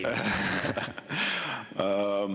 Ei.